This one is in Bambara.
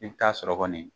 I bɛ taa sɔrɔ kɔni